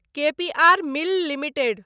के P R mill limited